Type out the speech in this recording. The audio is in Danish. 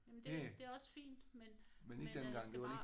Jamen det det er også fint men men jeg skal bare